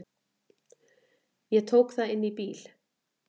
Ég tók það inn í bíl.